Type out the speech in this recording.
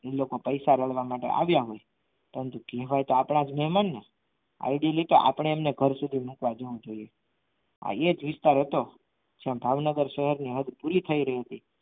એ લોકો પૈસા રડવા માટે આવ્યા હોય પરંતુ કહેવાય તો આપણા જ મહેમાનને આડી લીતે કરશું તો તેમણે ઘર સુધી મુકવા જવું જોઈએ હા એ જ વિસ્તાર હતો જ્યાં ભાવનગર શહેરની હદ પૂરી થઈ રહી હતી.